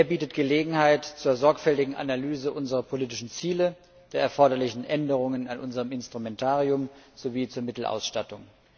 Er bietet Gelegenheit zur sorgfältigen Analyse unserer politischen Ziele, der erforderlichen Änderungen an unserem Instrumentarium sowie der Mittelausstattung.